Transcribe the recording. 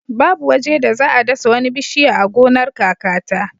Babu waje da za a dasa wani bishiya a gonar kakata.